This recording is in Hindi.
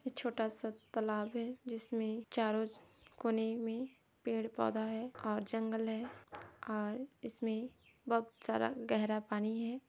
ये छोटा सा तालाब है जिसमें चारों कोने में पेड़- पौधा है और जंगल हैं और इसमें बहुत सारा गहरा पानी है।